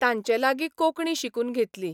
तांचे लागी कोंकणी शिकून घेतली.